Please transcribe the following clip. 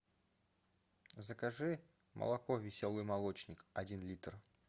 закажи молоко веселый молочник один литр